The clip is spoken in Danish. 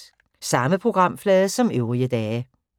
Samme programflade som øvrige dage